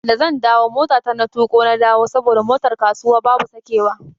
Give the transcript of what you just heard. Da zan dawo motata na tuƙo na dawo saboda motar kasuwa babu sakewa.